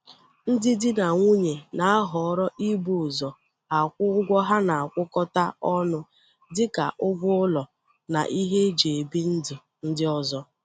Ndị di na nwunye na-ahọrọ ibu ụzọ akwụ ụgwọ ha na-akwụkọta ọnụ dịka ụgwọ ụlọ na ihe e ji bi ndụ ndị ọzọ